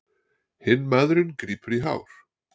Hinn maðurinn grípur í hár.